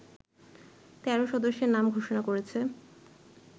১৩ সদস্যের নাম ঘোষণা করেছে